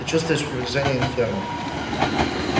ты чувствуешь приближение инферно